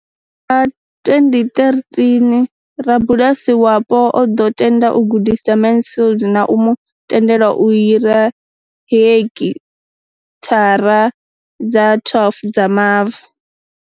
Nga 2013, rabulasi wapo o ḓo tenda u gudisa Mansfield na u mu tendela u hira hekithara dza 12 dza mavu.